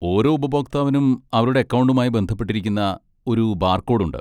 ഓരോ ഉപഭോക്താവിനും അവരുടെ അക്കൗണ്ടുമായി ബന്ധപ്പെട്ടിരിക്കുന്ന ഒരു ബാർകോഡ് ഉണ്ട്.